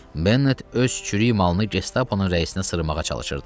Bennet öz çürük malını Gestaponun rəisinə sırmağa çalışırdı.